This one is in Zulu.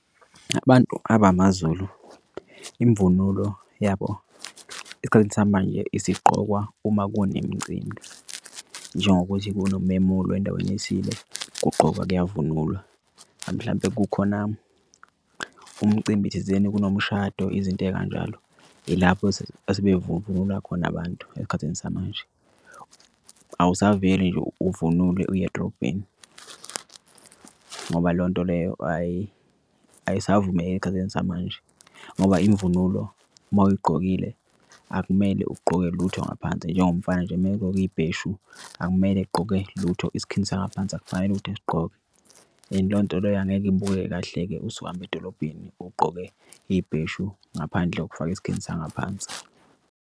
Abantu abamaZulu imvunulo yabo esikhathini samanje isigqokwa uma kunemicimbi njengokuthi kunomemulo endaweni ethile kugqokwa kyavunulwa. Mhlampe kukhona umcimbi thizeni kunomshado izinto ey'kanjalo ilapho asebe vunula khona abantu esikhathini samanje. Awasaveli nje uvunule uye edrobheni ngoba leyo nto leyo ayisavumeli esikhathini samanje ngoba imvunulo uma uyigqokile akumele ugqoke lutho ngaphansi. Njengomfana nje megqoke ibheshu, akumele egqoke lutho isikhindi sangaphansi akufanele ukuthi esigqoke and le nto leyo angeke ibukeke kahle-ke usuhamba edolobheni ugqoke ibheshu ngaphandle kokufaka isikhindi sangaphansi.